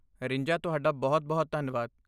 ਰਿੰਜਾ ਤੁਹਾਡਾ ਬਹੁਤ ਬਹੁਤ ਧੰਨਵਾਦ।